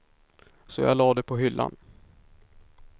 Så jag la det på hyllan.